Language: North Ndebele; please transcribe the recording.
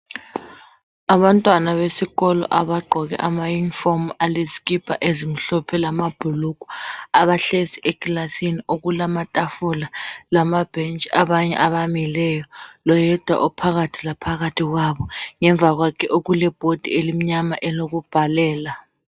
abantwana besikolo abgqoke ama uniform alezikipa ezimhlophe lamabhulugwa abahlezi ekilasini okulamatafula lamabhentshi abanye abamileyo loyedwa ophakathi laphakathi ngemva kwakhe okule board elimnyama elokubhalela